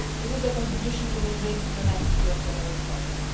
This is the contribution we will bring to the next UN General Assembly.